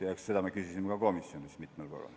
Eks me küsisime selle kohta ka komisjonis mitmel korral.